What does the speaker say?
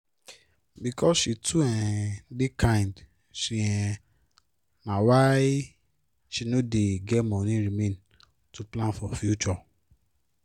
because she too um dey kind she um na why she no dey get money remain to plan for future